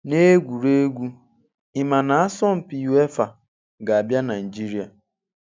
N'egwuregwu: Ị ma na asọmpi UEFA ga-abịa Naijiria